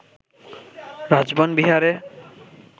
রাজবন বিহারে